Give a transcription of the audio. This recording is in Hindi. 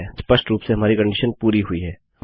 स्पष्ट रूप से हमारी कंडीशन पूरी हुई है